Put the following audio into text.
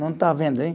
Não está vendo aí?